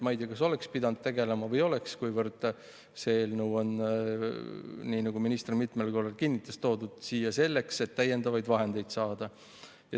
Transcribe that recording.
Ma ei tea, kas oleks pidanud tegelema või ei oleks, kuivõrd see eelnõu on, nii nagu minister mitmel korral kinnitas, toodud siia selleks, et täiendavaid vahendeid saada.